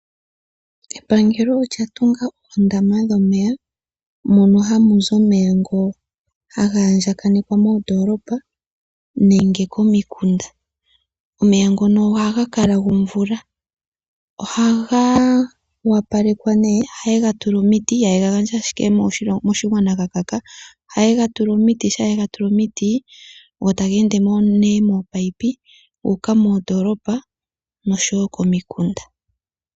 Epangelo olya tunga oondama dhomeya mono hamu zi omeya ngono haga andjakanekwa moondoolopa nenge komikunda. Omeya ngono ohaga kala gomvula. Ohaga opalekwa, ohaye ga tula omiti ihaye ga gandja ashike moshigwana ga kaka. Ohaye ga tula omiti. Shaa ye ga tula omiti go tage ende nee moopayipi gu uka moondoolopa noshowo momikunda.